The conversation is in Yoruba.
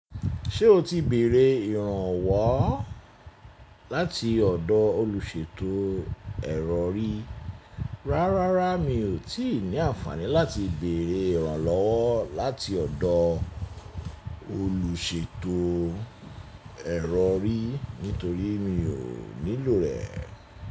Ṣé o ti bèèrè ìrànwọ́ láti ọ̀dọ̀ olùṣètò ẹ̀rọ rí? Rárá, mi ò tíì ní àǹfààní láti bèèrè ìrànlọwọ́ láti ọ̀dọ̀ olùṣètò ẹ̀rọ rí, nítorí mi ò nílò rẹ̀